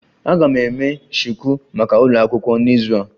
Aga m eme shuku maka ụlọ akwụkwọ n'izu a